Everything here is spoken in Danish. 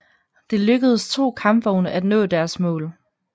Det lykkedes to kampvogne at nå deres mål